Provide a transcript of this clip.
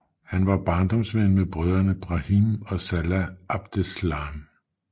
Han var barndomsven med brødrene Brahim og Salah Abdeslam